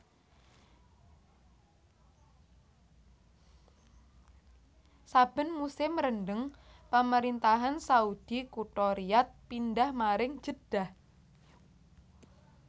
Saben musim rendeng Pemerintahan Saudi kutha Riyadh pindhah maring Jeddah